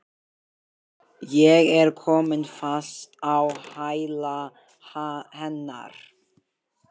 Ég er komin fast á hæla hennar.